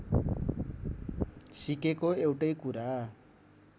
सिकेको एउटै कुरा